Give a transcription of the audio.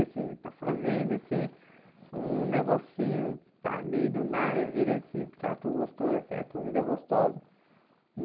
Assim, está fazendo, assim, um negocinho, está ali do nada, vira esse prato gostoso, assim, a comida gostosa.